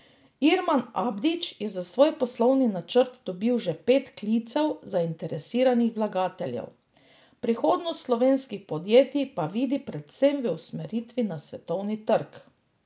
Irman Abdić je za svoj poslovni načrt dobil že pet klicev zainteresiranih vlagateljev, prihodnost slovenskih podjetij pa vidi predvsem v usmeritvi na svetovni trg.